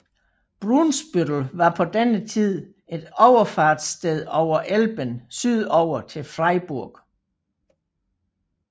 Brunsbüttel var på denne tid et overfartssted over Elben sydover til Freiburg